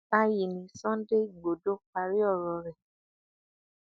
báyìí ni sunday igbodò parí ọrọ rẹ